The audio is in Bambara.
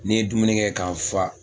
Ni n ye dumunikɛ ka n fa